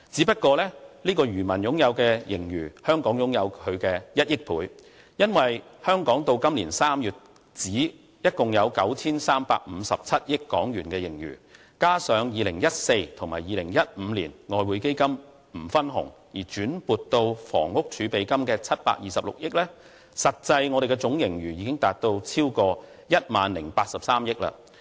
香港的盈餘是他的1億倍，因為香港至今年3月為止，共有 9,357 億港元盈餘，加上2014年及2015年外匯基金不分紅而轉撥到房屋儲備金的726億元，實際我們的總盈餘已達到超過 10,083 億元。